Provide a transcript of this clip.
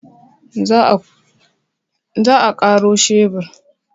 Za a karo shebur.